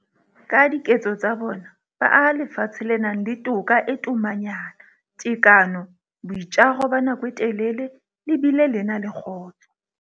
Ka diketso tsa bona, ba aha lefatshe le nang le toka e tomanyana, tekano, boitjaro ba nako e telele le bile le na le kgotso.